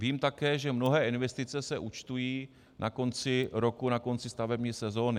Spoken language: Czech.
Vím také, že mnohé investice se účtují na konci roku, na konci stavební sezóny.